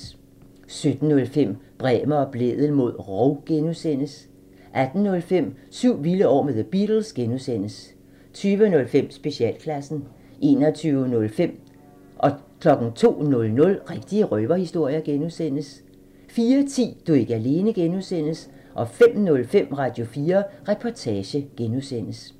17:05: Bremer og Blædel mod rov (G) 18:05: Syv vilde år med The Beatles (G) 20:05: Specialklassen 21:05: Rigtige røverhistorier (G) 02:00: Rigtige røverhistorier (G) 04:10: Du er ikke alene (G) 05:05: Radio4 Reportage (G)